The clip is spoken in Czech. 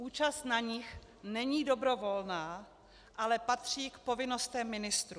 Účast na nich není dobrovolná, ale patří k povinnostem ministrů.